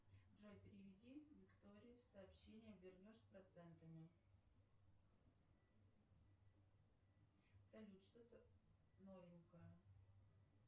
джой переведи виктории сообщение вернешь с процентами салют что то новенькое